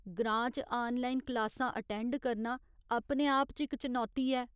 ग्रां च आनलाइन क्लासां अटेंड करना अपने आप च इक चनौती ऐ।